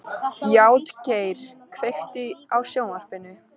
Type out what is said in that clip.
Játgeir, kveiktu á sjónvarpinu.